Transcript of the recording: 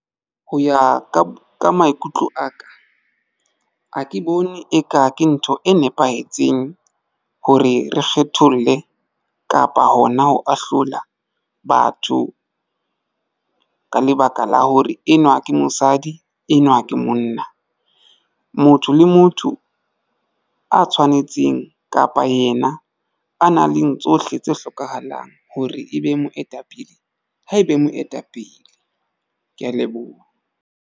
Ho ya ka maikutlo aka ha ke bone eka ke ntho e nepahetseng hore re kgetholle kapa hona ho ahlola batho ka lebaka la hore enwa ke mosadi enwa ke monna motho le motho a tshwanetseng kapa yena a nang leng tsohle tse hlokahalang hore ebe moetapele ha ebe moetapele. Ke ya leboha.